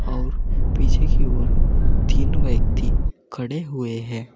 और पीछे की ओर तीन व्यक्ति खड़े हुए हैं।